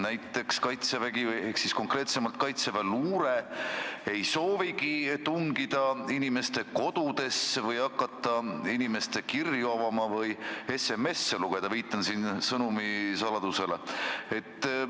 Näiteks, Kaitsevägi ehk konkreetsemalt kaitseväeluure ei soovi tungida inimeste kodudesse ega hakata inimeste kirju avama või SMS-e lugema .